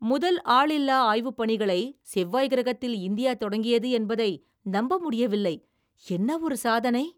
முதல், ஆளில்லா ஆய்வுப் பணிகளை செவ்வாய் கிரகத்தில் இந்தியா தொடங்கியது என்பதை நம்ப முடியவில்லை. என்னவொரு சாதனை!